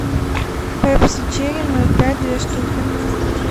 пепси черри ноль пять две штуки